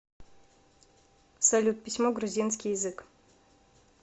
салют письмо грузинский язык